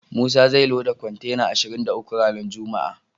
Musa zai loda kontena ashirin da uku ranar juma'a.